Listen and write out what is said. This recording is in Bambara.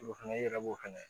O fɛnɛ i yɛrɛ b'o fɛnɛ